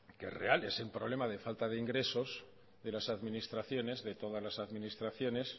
que es real es el problema de falta de ingresos de las administraciones de todas las administraciones